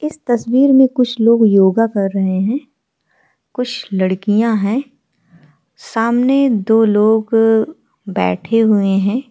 इस तस्वीर में कुछ लोग योगा कर रहे है। कुछ लड़कियां है। सामने दो लोग अ बैठे हुए है।